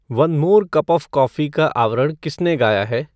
one more cup of coffee का आवरण किसने गाया है